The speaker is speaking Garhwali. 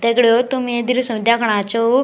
दगड़ियों तुम ये दृश्य मा दिखणा छो --